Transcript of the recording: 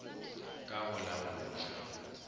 ka go la go ja